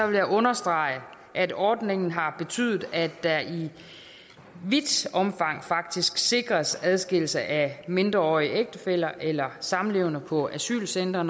vil jeg understrege at ordningen har betydet at der i vidt omfang faktisk sikres adskillelse af mindreårige ægtefæller eller samlevende på asylcentre